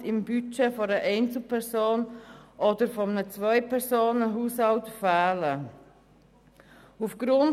Dadurch fehlen im Budget einer Einzelperson oder eines Zweipersonenhaushalts rund 100 Franken im Monat.